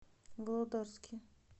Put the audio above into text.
володарске